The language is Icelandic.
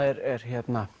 er